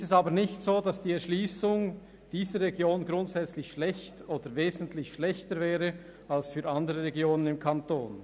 Nun ist es aber nicht so, dass die Erschliessung dieser Region grundsätzlich schlecht oder wesentlich schlechter wäre als jene anderer Regionen des Kantons.